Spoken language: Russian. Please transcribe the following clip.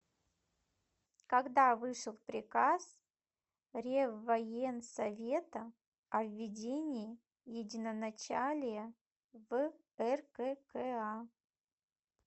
когда вышел приказ реввоенсовета о введении единоначалия в ркка